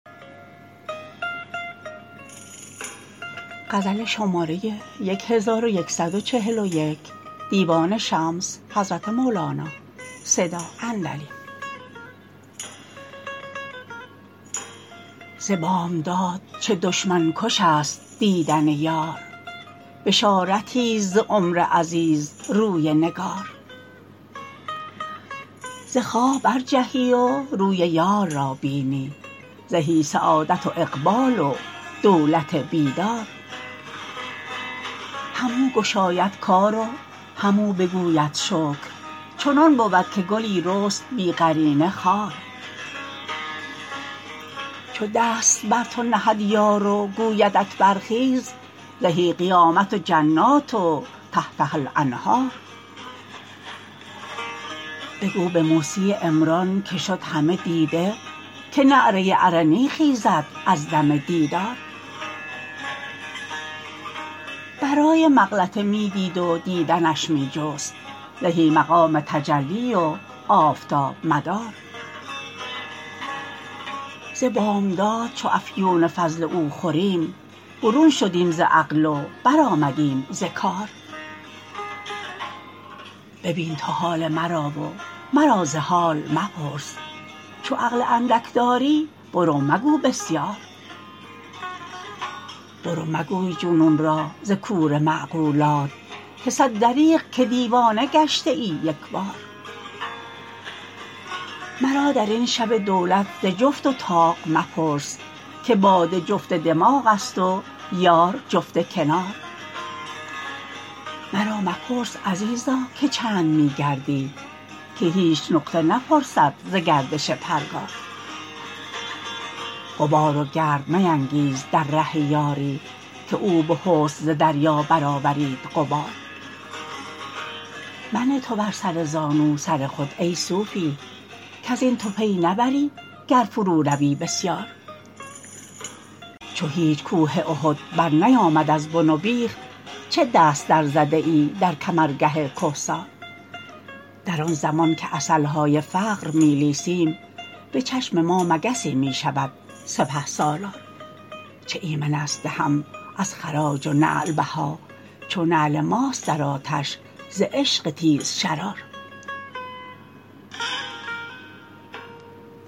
ز بامداد چه دشمن کشست دیدن یار بشارتیست ز عمر عزیز روی نگار ز خواب برجهی و روی یار را بینی زهی سعادت و اقبال و دولت بیدار همو گشاید کار و همو بگوید شکر چنان بود که گلی رست بی قرینه خار چو دست بر تو نهد یار و گویدت برخیز زهی قیامت و جنات و تحتها الانهار بگو به موسی عمران که شد همه دیده که نعره ارنی خیزد از دم دیدار برای مغلطه می دید و دیدنش می جست زهی مقام تجلی و آفتاب مدار ز بامداد چو افیون فضل او خوردیم برون شدیم ز عقل و برآمدیم ز کار ببین تو حال مرا و مرا ز حال مپرس چو عقل اندک داری برو مگو بسیار برو مگوی جنون را ز کوره معقولات که صد دریغ که دیوانه گشته ای یک بار مرا در این شب دولت ز جفت و طاق مپرس که باده جفت دماغست و یار جفت کنار مرا مپرس عزیزا که چند می گردی که هیچ نقطه نپرسد ز گردش پرگار غبار و گرد مینگیز در ره یاری که او به حسن ز دریا برآورید غبار منه تو بر سر زانو سر خود ای صوفی کز این تو پی نبری گر فروروی بسیار چو هیچ کوه احد برنیامد از بن و بیخ چه دست درزده ای در کمرگه کهسار در آن زمان که عسل های فقر می لیسیم به چشم ما مگسی می شود سپه سالار چه ایمنست دهم از خراج و نعل بها چو نعل ماست در آتش ز عشق تیزشرار